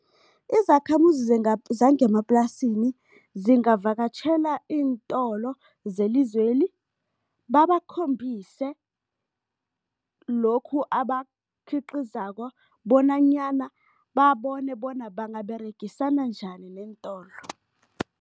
Izakhamuzi zangemaplasini zingavakatjhela iintolo zelizweli, babakhombise lokhu abakukhiqizako bonanyana babone bona bangaberegisana njani neentolo.